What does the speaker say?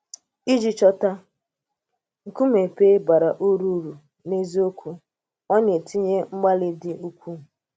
Iji chọ̀tà nkùmé pè̩l bara ùrú ùrú n’eziokwu, a na-etinye mgbalị́ dị̀ ukwuu.